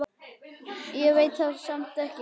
Ég veit það samt ekki.